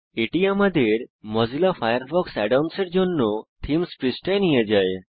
এটি আমাদের Mozilla Firefox add ons এর জন্য থিমস পৃষ্ঠায় নিয়ে যায়